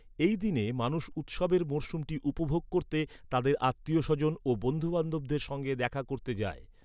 এই দিনে মানুষ উৎসবের মরশুমটি উপভোগ করতে তাদের আত্মীয়স্বজন ও বন্ধুবান্ধবদের সঙ্গে দেখা করতে যায়।